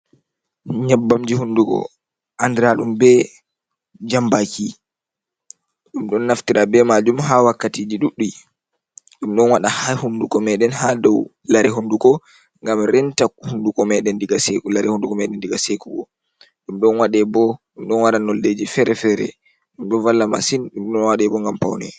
nyabbamji hundugo andira dum be jambaki. Dum don naftira be majum ha wakkatiji ɗuddi. Ɗum don wade ha hunduko meden ha dou larre honduko gam renta hunduko meden lare hundukomeden diga sekugo. Ɗum do bo dum don wade bo nolleji fere-fere. dum do valla masin. dum don wade bo ngam paune.